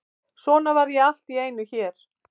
Svo var ég allt í einu hér.